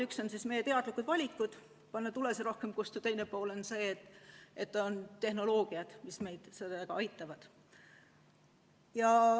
Üks on meie teadlikud valikud panna tulesid rohkem kustu ja teine pool on see, et on tehnoloogiad, mis meid selles aitavad.